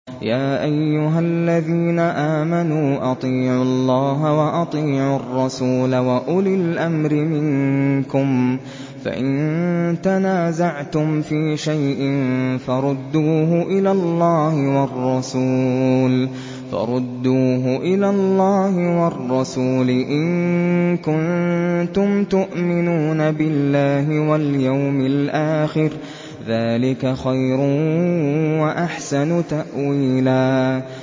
يَا أَيُّهَا الَّذِينَ آمَنُوا أَطِيعُوا اللَّهَ وَأَطِيعُوا الرَّسُولَ وَأُولِي الْأَمْرِ مِنكُمْ ۖ فَإِن تَنَازَعْتُمْ فِي شَيْءٍ فَرُدُّوهُ إِلَى اللَّهِ وَالرَّسُولِ إِن كُنتُمْ تُؤْمِنُونَ بِاللَّهِ وَالْيَوْمِ الْآخِرِ ۚ ذَٰلِكَ خَيْرٌ وَأَحْسَنُ تَأْوِيلًا